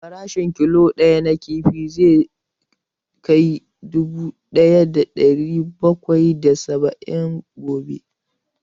Farashin killo ɗaya na kifi zai kai nera dubu ɗaya da ɗari bakwai da saba'in gobe